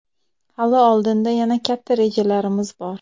Hali oldinda yana katta rejalarimiz bor.